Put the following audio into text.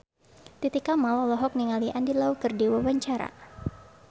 Titi Kamal olohok ningali Andy Lau keur diwawancara